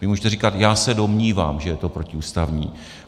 Vy můžete říkat: Já se domnívám, že je to protiústavní.